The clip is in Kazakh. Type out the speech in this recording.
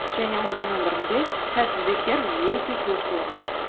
және оның өмірінде сәтсіздіктер өте көп болған